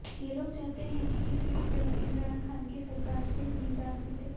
ये लोग चाहते हैं कि किसी भी तरह इमरान खान की सरकार से निजात मिले